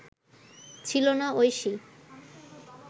ছিল না ঐশী